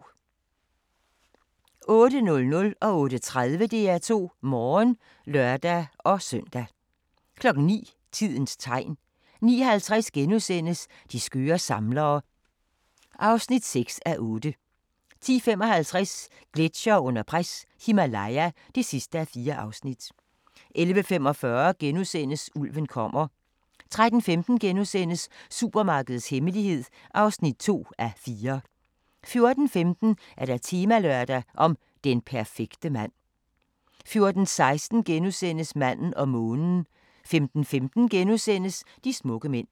08:00: DR2 Morgen (lør-søn) 08:30: DR2 Morgen (lør-søn) 09:00: Tidens Tegn 09:50: De skøre samlere (6:8)* 10:55: Gletsjere under pres – Himalaya (4:4) 11:45: Ulven kommer * 13:15: Supermarkedets hemmelighed (2:4)* 14:15: Temalørdag: Den perfekte mand 14:16: Manden og månen * 15:15: De smukke mænd *